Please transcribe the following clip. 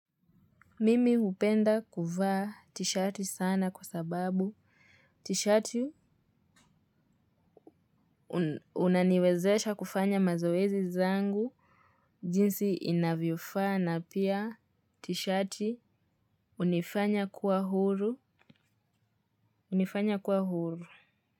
Mimi hupenda kuvaa tishati sana kwa sababu tishati unaniwezesha kufanya mazoezi zangu jinsi inavyofaa na pia tishati hunifanya kuwa huru hunifanya kuwa huru.